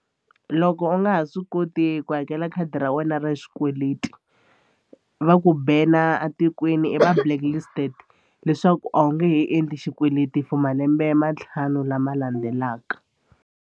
Loko u nga ha swi koti ku hakela khadi ra wena ra xikweleti va ku banner a tikweni i va blacklisted leswaku a wu nge he endli xikweleti for malembe ma ntlhanu lama landzelaka.